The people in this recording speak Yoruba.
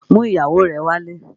Mú ìyàwó rẹ̀ wálé!